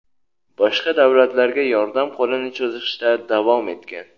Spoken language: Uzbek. boshqa davlatlarga yordam qo‘lini cho‘zishda davom etgan.